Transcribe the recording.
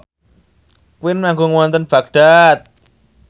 Queen manggung wonten Baghdad